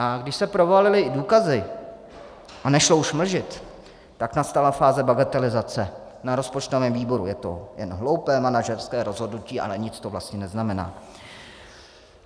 A když se provalily i důkazy a nešlo už mlžit, tak nastala fáze bagatelizace na rozpočtovém výboru: je to jenom hloupé manažerské rozhodnutí, ale nic to vlastně neznamená.